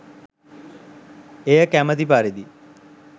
එය කැමති පරිදි